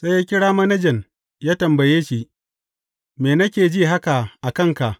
Sai ya kira manajan, ya tambaye shi, Me nake ji haka a kanka?